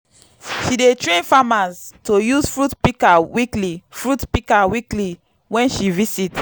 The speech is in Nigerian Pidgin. she dey train farmers to use fruit pika weekly fruit pika weekly wen she visit